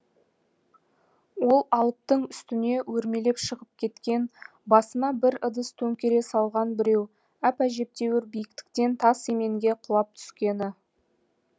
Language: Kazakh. ол алыптың үстіне өрмелеп шығып кеткен басына бір ыдыс төңкере салған біреу әп әжептеуір биіктіктен тас еменге құлап түскені